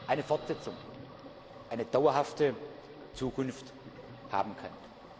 eine Fortsetzung, eine dauerhafte Zukunft haben können.